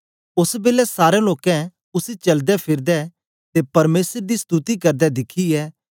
ओस बेलै सारें लोकें उसी चलदेफिरदे ते परमेसर दी स्तुति करदे दिखियै